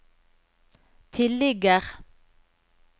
tilligger